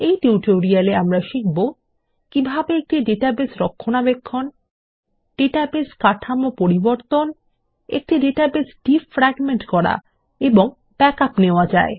এই টিউটোরিয়ালে আমরা শিখব কিভাবে একটি ডেটাবেস রক্ষণাবেক্ষণ ডাটাবেস কাঠামো পরিবর্তন একটি ডাটাবেস ডিফ্র্যাগমেন্ট করা এবং ব্যাকআপস নেওয়া যায়